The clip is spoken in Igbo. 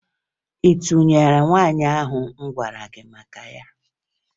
Ị tụnyere nwaanyị ahụ m gwara gị maka ya?